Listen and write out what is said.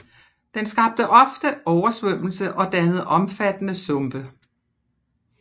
Den skabte ofte oversvømmelse og dannede omfattende sumpe